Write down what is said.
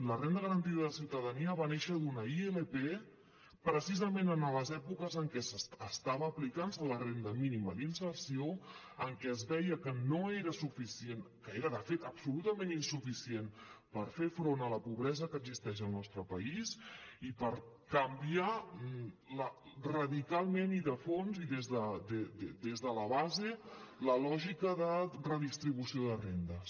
la renda garantida de ciutadania va néixer d’una ilp precisament en les èpoques en què estava aplicant se la renda mínima d’inserció en què es veia que no era suficient que era de fet absolutament insuficient per fer front a la pobresa que existeix al nostre país i per canviar radicalment i de fons i des de la base la lògica de redistribució de rendes